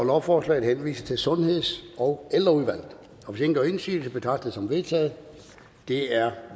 at lovforslaget henvises til sundheds og ældreudvalget hvis ingen gør indsigelse betragter som vedtaget det er